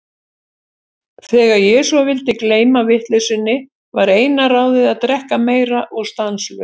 Þegar ég svo vildi gleyma vitleysunni, var eina ráðið að drekka meira og stanslaust.